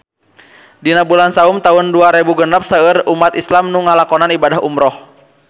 Dina bulan Saum taun dua rebu genep seueur umat islam nu ngalakonan ibadah umrah